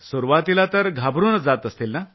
सुरूवातीला तर घाबरून जात असतील नं